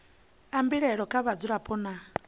a mbilaelo kha vhadzulapo nna